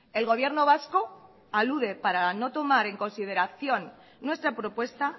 el gobierno vasco alude para no tomar en consideración nuestra propuesta